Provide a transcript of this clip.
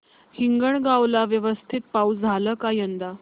हिंगणगाव ला व्यवस्थित पाऊस झाला का यंदा